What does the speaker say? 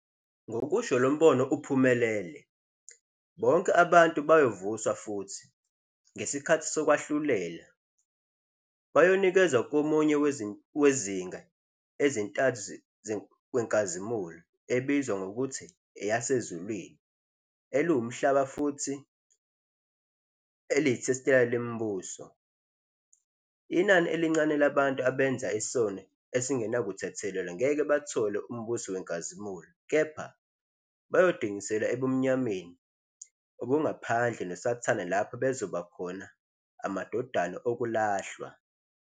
Ngokusho lo mbono uphumelele, bonke abantu ziyovuswa futhi, ngesikhathi Lokwahlulela Final, bayonikezwa komunye degrees ezintathu wenkazimulo, ebizwa ngokuthi yasezulwini, eliwumhlaba, futhi telestial imibuso. Inani elincane labantu abenza isono esingenakuthethelelwa ngeke bathole umbuso wenkazimulo, kepha bayodingiselwa ebumnyameni obungaphandle noSathane lapho bezoba khona " amadodana okulahlwa ".